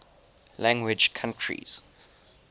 language countries